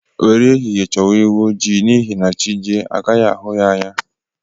Were ehihie choba ewụ ojii n'ihi na chị jie agaghị ahụ ya anya.